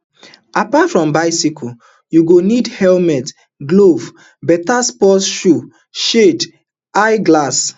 apart from bicycle you go need helmet gloves beta sports shoes shades eye glass